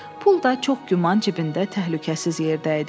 Pul da çox güman cibində təhlükəsiz yerdə idi.